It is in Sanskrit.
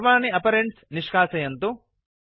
सर्वाणि आपरेण्ड्स् निष्कासयन्तु